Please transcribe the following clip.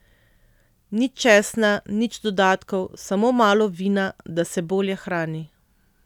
Nič česna, nič dodatkov, samo malo vina, da se bolje hrani.